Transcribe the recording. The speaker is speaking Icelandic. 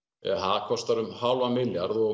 það kostar um hálfan milljarð og